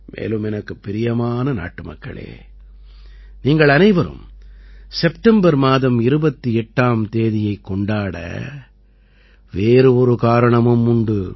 மேலும் எனக்குப் பிரியமான நாட்டுமக்களே நீங்கள் அனைவரும் செப்டம்பர் மாதம் 28ஆம் தேதியைக் கொண்டாட வேறு ஒரு காரணமும் உண்டு